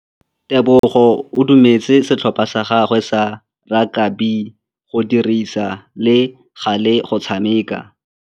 Tebogô o dumeletse setlhopha sa gagwe sa rakabi go dirisa le galê go tshameka.